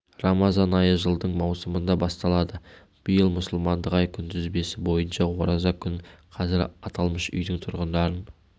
рамазан айы жылдың маусымында басталады биыл мұсылмандық ай күнтізбесі бойынша ораза күн қазір аталмыш үйдің тұрғындарын